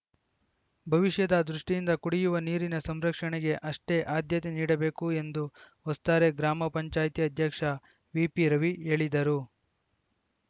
ಭವಿಷ್ಯದ ದೃಷ್ಟಿಯಿಂದ ಕುಡಿಯುವ ನೀರಿನ ಸಂರಕ್ಷಣೆಗೆ ಅಷ್ಟೇ ಆದ್ಯತೆ ನೀಡಬೇಕು ಎಂದು ವಸ್ತಾರೆ ಗ್ರಾಮ ಪಂಚಾಯ್ತಿ ಅಧ್ಯಕ್ಷ ವಿಪಿ ರವಿ ಹೇಳಿದರು